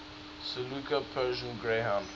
saluki persian greyhound